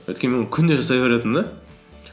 өйткені мен оны күндей жасай беретінмін де